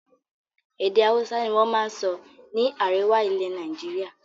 Èdè Hausa ni wọn máa ń sọ ní àríwá ilẹ̀ Nàìjíríà